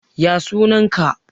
ya sunanka?